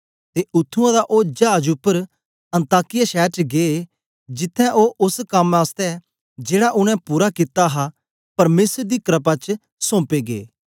ते उत्त्थुआं ओ चाज उपर अन्ताकिया शैर च गे जित्त्थें ओ ओस कम आसतै जेड़ा उनै पूरा कित्ता हा परमेसर दी क्रपा च सोंपे गे